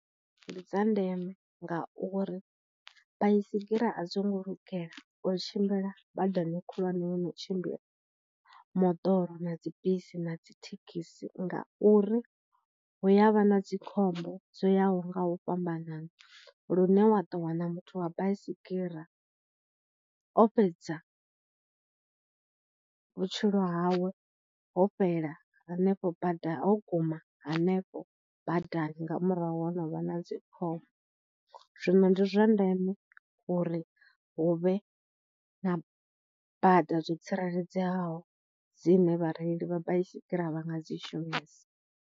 Ndi dza ndeme ngauri baisigira a dzi ngo lugela u tshimbila badani khulwane i no tshimbila moḓoro, na dzibisi, na dzi thekhisi ngauri huya vha na dzikhombo dzo yaho nga u fhambanana lune wa ḓo wana muthu wa baisigira o fhedza vhutshilo hawe ho fhela ri henefho bada wo guma hanefho badani nga murahu ha novha na dzi khombo. Zwino ndi zwa ndeme uri huvhe na bada zwo tsireledzeaho dzine vhareili vha baisigira vha nga dzi shumisa.